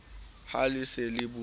ha le se le beuwe